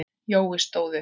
Jói stóð upp.